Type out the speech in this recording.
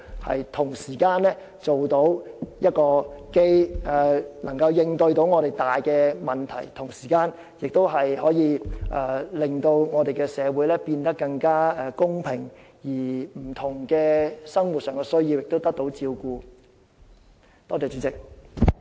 這樣既能應對我們所面對的重大問題，同時亦可使社會變得更加公平，讓市民的不同生活需要均可得到照顧。